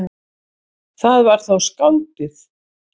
Það var þá skáldið.